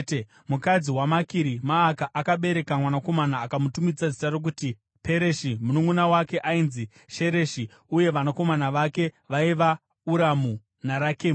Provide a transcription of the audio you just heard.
Mukadzi waMakiri Maaka akabereka mwanakomana akamutumidza zita rokuti Pereshi. Mununʼuna wake ainzi Shereshi, uye vanakomana vake vaiva Uramu naRakemu.